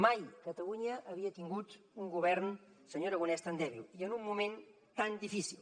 mai catalunya havia tingut un govern senyor aragonès tan dèbil i en un moment tan difícil